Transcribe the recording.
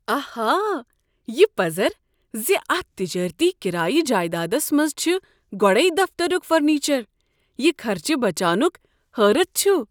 آہا! یہ پزر ز اتھ تجٲرتی کرایہ جایدادس منٛز چھ گۄڈے دفترُک فرنیچر، یہِ خرچہِ بچانُك حٲرتھ چھُ۔